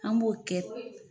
An b'o kɛ